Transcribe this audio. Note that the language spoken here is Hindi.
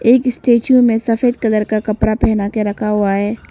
एक स्टैचू में सफेद कलर का कपड़ा पहना के रखा हुआ है।